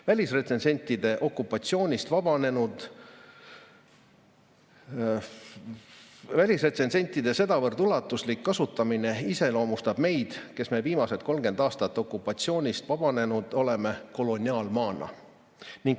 Välisretsensentide sedavõrd ulatuslik kasutamine iseloomustab meid, kes me viimased 30 aastat okupatsioonist vabanenud oleme, koloniaalmaana.